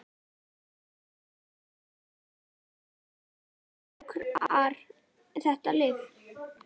Þorbjörn: Fá þessir sjúklingar þetta lyf?